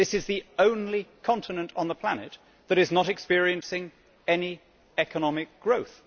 This is the only continent on the planet that is not experiencing any economic growth.